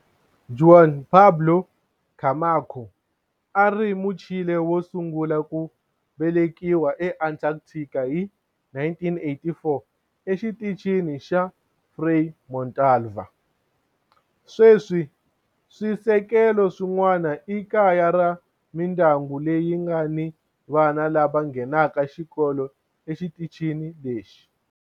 Juan Pablo Camacho a a ri Muchile wo sungula ku velekiwa eAntarctica hi 1984 eXitichini xa Frei Montalva. Sweswi swisekelo swin'wana i kaya ra mindyangu leyi nga ni vana lava nghenaka xikolo exitichini lexi.